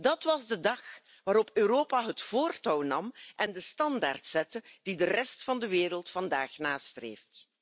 Dat was de dag waarop Europa het voortouw nam, en de standaard zette die de rest van de wereld vandaag nastreeft.